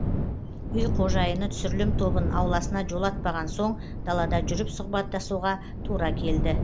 үй қожайыны түсірілім тобын ауласына жолатпаған соң далада жүріп сұхабаттасуға тура келді